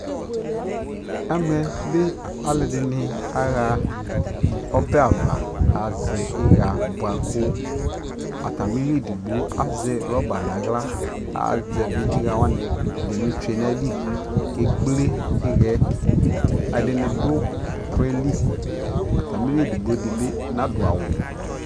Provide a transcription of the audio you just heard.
ɛmɛ bi alʋɛdini aha ɔbɛ aɣa azɛ iya bʋakʋ, atamili ɛdigbɔ azɛ rubber nʋ ala kʋazɛvi iya wani ɛdi twɛnʋ ali kʋ ɛkplɛ iyaɛ, ɛdini dʋɔkrɔ ɛli, atamili ɛdigbɔ dibi nadʋ awʋ